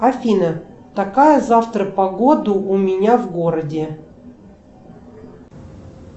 афина какая завтра погода у меня в городе